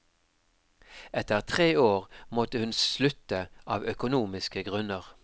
Etter tre år måtte hun slutte av økonomiske grunner.